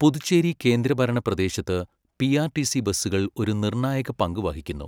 പുതുച്ചേരി കേന്ദ്രഭരണപ്രദേശത്ത് പിആർടിസി ബസ്സുകൾ ഒരു നിർണായകപങ്ക് വഹിക്കുന്നു.